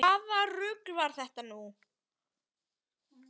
Hvaða rugl var þetta nú?